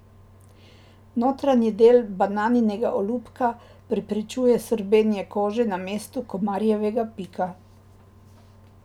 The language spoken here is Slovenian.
Notranji del bananinega olupka preprečuje srbenje kože na mestu komarjevega pika.